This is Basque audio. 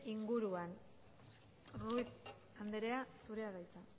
inguruan ruiz anderea zurea da hitza